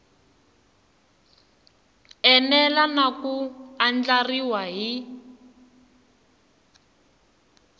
enela na ku andlariwa hi